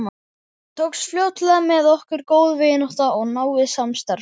Tókst fljótlega með okkur góð vinátta og náið samstarf.